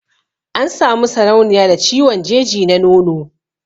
An Sami sarauniya da ciwon jeji na nono